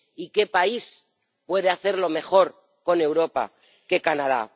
¿Y qué país puede hacerlo mejor, con Europa, que Canadá?